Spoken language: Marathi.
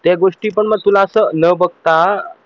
त्या गोष्टी पण तुला असं न बघता